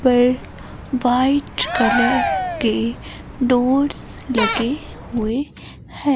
पर white colour के doors लगे हुए हैं।